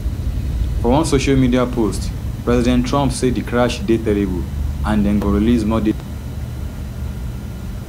for one social media post president trump say di crash dey terrible and dem go release more details as to wetin happun